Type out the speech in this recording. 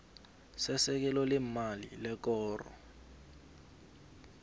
sesekelo leemali lekoro